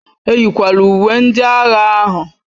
Eyịkwala uwe ndị agha ahụ!